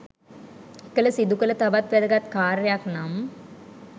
එකල සිදු කළ තවත් වැදගත් කාර්යයක් නම්